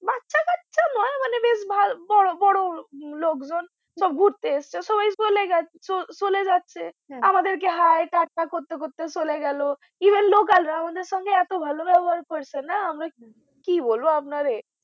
লোকজন সব ঘুরতে এসেছে সবাই চলে গেলো চলে যাচ্ছে হম আমাদের কে hi tata করতে করতে চলে গেলো even local রা আমাদের সঙ্গে এতো ভালো ব্যবহার করছে না হম আমরা কি বলবো আপনারে